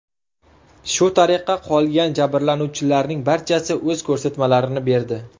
Shu tariqa, qolgan jabrlanuvchilarning barchasi o‘z ko‘rsatmalarini berdi.